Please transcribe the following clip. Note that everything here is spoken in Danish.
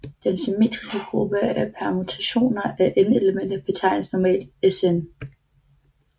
Den symmetriske gruppe af permutationer af n elementer betegnes normalt Sn